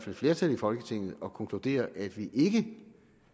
et flertal i folketinget at konkludere at vi ikke